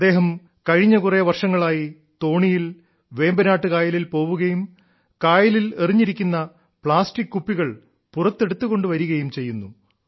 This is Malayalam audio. അദ്ദേഹം കഴിഞ്ഞ കുറെ വർഷങ്ങളായി തോണിയിൽ വേമ്പനാട്ട് കായലിൽ പോകുകയും കായലിൽ എറിഞ്ഞിരിക്കുന്ന പ്ലാസ്റ്റിക് കുപ്പികൾ പുറത്തെടുത്തുകൊണ്ട് വരികയും ചെയ്യുന്നു